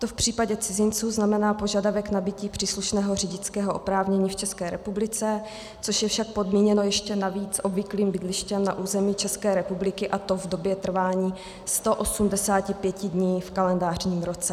To v případě cizinců znamená požadavek nabytí příslušného řidičského oprávnění v České republice, což je však podmíněno ještě navíc obvyklým bydlištěm na území České republiky, a to v době trvání 185 dní v kalendářním roce.